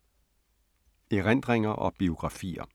Erindringer og biografier